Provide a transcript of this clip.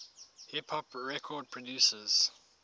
hip hop record producers